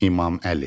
İmam Əli.